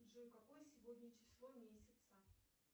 джой какое сегодня число месяца